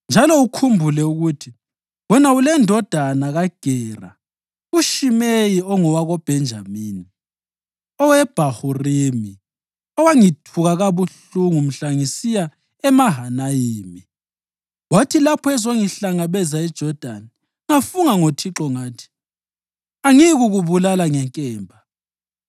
Njalo ukhumbule ukuthi, wena ulendodana kaGera uShimeyi ongowakoBhenjamini oweBhahurimi owangithuka kabuhlungu mhla ngisiya kuMahanayimi. Wathi lapho ezongihlangabeza eJodani, ngafunga ngoThixo ngathi: ‘Angiyikukubulala ngenkemba.’